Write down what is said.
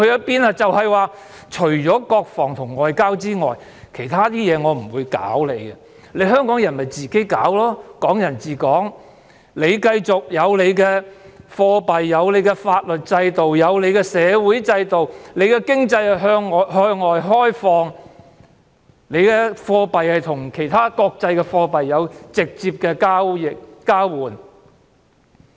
便是除了國防和外交之外，其他事務不會干預，由香港人自行處理，繼續"港人治港"，香港有獨立的貨幣、法律制度、社會制度，香港的經濟向外開放，港幣可與其他國際貨幣直接交換。